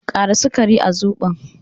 Ƙara sukari a Zobon